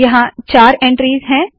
यहाँ चार एन्ट्रीज़ है